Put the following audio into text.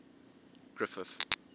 griffith